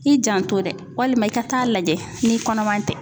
I janto dɛ walima i ka taa lajɛ n'i kɔnɔma tɛ.